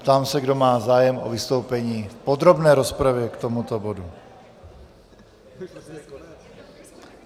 Ptám se, kdo má zájem o vystoupení v podrobné rozpravě k tomuto bodu.